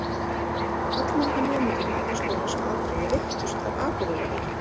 Allmargir nemendur Menntaskólans á Akureyri veiktust af Akureyrarveikinni.